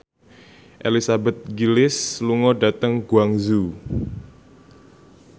Elizabeth Gillies lunga dhateng Guangzhou